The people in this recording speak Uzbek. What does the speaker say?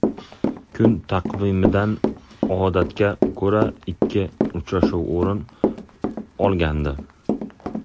Kun taqvimidan odatga ko‘ra ikki uchrashuv o‘rin olgandi.